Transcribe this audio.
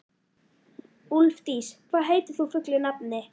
Úlfdís, hvað heitir þú fullu nafni?